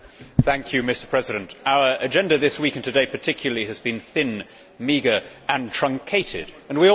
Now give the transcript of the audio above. Mr President, our agenda this week, and today particularly, has been thin, meagre and truncated. We all know why.